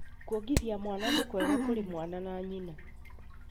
Kwongithia mwana nĩ mwega kũrĩ mwana na nyina